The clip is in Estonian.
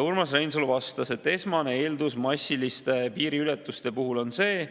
Urmas Reinsalu vastas, et esmane eeldus massiliste piiriületuste puhul on see,